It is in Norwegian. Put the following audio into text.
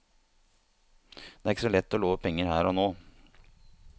Det er ikke så lett å love penger her og nå.